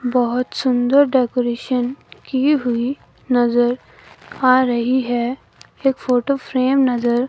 बहोत सुंदर डेकोरेशन की हुई नजर आ रही है एक फोटो फ्रेम नज़र--